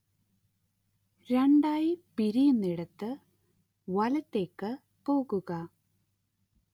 രണ്ടായി പിരിയുന്നയിടത്ത് വലത്തേക്ക് പോകുക